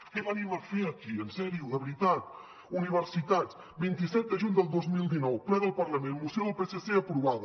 què venim a fer aquí en sèrio de veritat universitats vint set de juny del dos mil dinou ple del parlament moció del psc aprovada